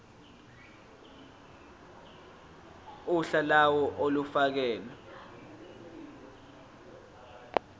uhla lawo olufakelwe